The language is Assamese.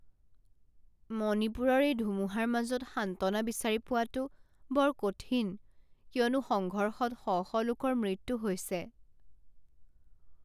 মণিপুৰৰ এই ধুমুহাৰ মাজত সান্ত্বনা বিচাৰি পোৱাটো বৰ কঠিন কিয়নো সংঘৰ্ষত শ শ লোকৰ মৃত্যু হৈছে।